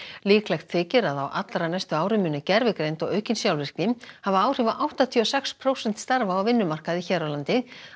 líklegt þykir að á allra næstu árum muni gervigreind og aukin sjálfvirkni hafa áhrif á áttatíu og sex prósent starfa á vinnumarkaði hér á landi